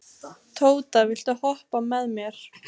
Tóta, viltu hoppa með mér?